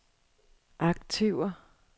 aktiver